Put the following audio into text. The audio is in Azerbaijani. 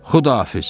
Xudahafiz.